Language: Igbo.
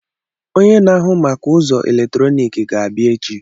Onye na-ahụ maka ụzọ eletrọnịkị ga-abịa echi.